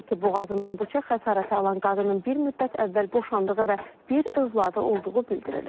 Qeyd edək ki, boğazından bıçaq xəsarəti alan qadının bir müddət əvvəl boşandığı və bir övladı olduğu bildirilir.